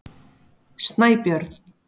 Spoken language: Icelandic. Snæbjörn